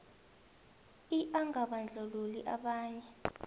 i angabandlululi abanye